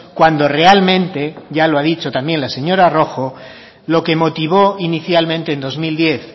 cuando realmente ya lo ha dicho también la señora rojo lo que motivó inicialmente en dos mil diez